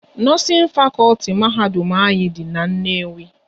Nọọsin fakọlti mahadum ahụ dị n'Nnewi